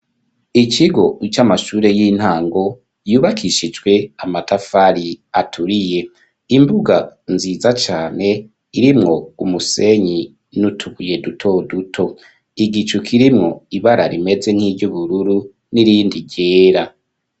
Ikigo c'amashure y'intango yubakishijwe amatafari aturiye imbuga nziza cane irimwo umusenyi nutubuye duto duto igicu kirimwo ibara rimeze nk'iryubururu nirindi ryera.